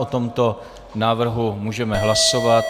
O tomto návrhu můžeme hlasovat.